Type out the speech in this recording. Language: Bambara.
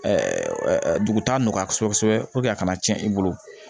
dugutaga nɔgɔya kosɛbɛ a kana cɛn i bolo